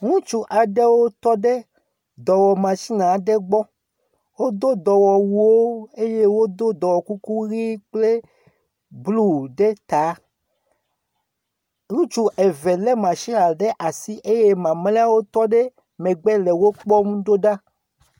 Ŋutsu eve lé matsin ɖe asi eye mamlewo tɔ ɖe megbe le wo kpɔm ɖo ɖa. Ŋutsu aɖewo tɔ ɖe dɔwɔmatsin aɖe gbɔ. Wodo dɔwɔwuwo eye wodo dɔwɔkukuʋi kple blu ɖe ta.